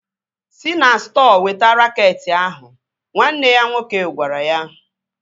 Si na stọọ weta raket ahụ! Nwanne ya nwoke gwara ya